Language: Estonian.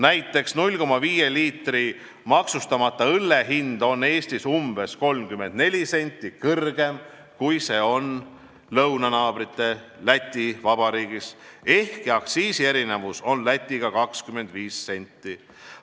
Näiteks on 0,5 liitri maksustamata õlle hind Eestis umbes 34 senti kõrgem, kui see on lõunanaabrite juures Läti Vabariigis, ehkki aktsiisierinevus on Lätiga võrreldes 25 senti.